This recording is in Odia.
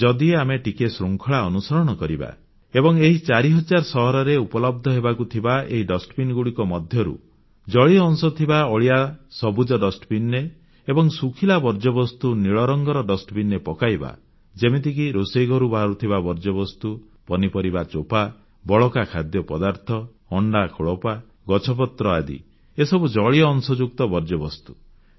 ଯଦି ଆମେ ଟିକିଏ ଶୃଙ୍ଖଳା ଅନୁସରଣ କରିବା ଏବଂ ଏହି 4000 ସହରରେ ଉପଲବ୍ଧ ହେବାକୁ ଥିବା ଏହି ଡଷ୍ଟବିନ୍ ଗୁଡ଼ିକ ମଧ୍ୟରୁ ଜଳୀୟଅଂଶ ଥିବା ଅଳିଆ ସବୁଜ ଡଷ୍ଟବିନ୍ ରେ ଏବଂ ଶୁଖିଲା ବର୍ଜ୍ୟବସ୍ତୁ ନୀଳରଙ୍ଗର ଡଷ୍ଟବିନ୍ ରେ ପକାଇବା ଯେମିତିକି ରୋଷେଇ ଘରୁ ବାହାରୁଥିବା ବର୍ଜ୍ୟବସ୍ତୁ ପନିପରିବା ଚୋପା ବଳକା ଖାଦ୍ୟପଦାର୍ଥ ଅଣ୍ଡା ଖୋଳପା ଗଛପତ୍ର ଆଦି ଏସବୁ ଜଳୀୟଅଂଶଯୁକ୍ତ ବର୍ଜ୍ୟବସ୍ତୁ